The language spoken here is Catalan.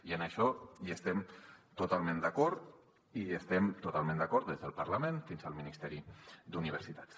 i en això hi estem totalment d’acord i hi estem totalment d’acord des del parlament fins al ministeri d’universitats